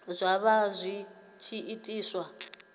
zwa vha zwi tshi itiwa